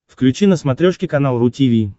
включи на смотрешке канал ру ти ви